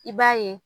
I b'a ye